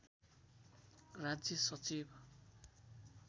राज्य सचिव